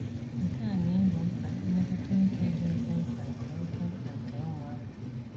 Nke a na - egbo mkpa mmetụta uche dị oké mkpa nke oké mkpa nke ụmụaka.